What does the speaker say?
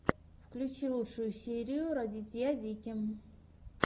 включи лучшую серию радитья дики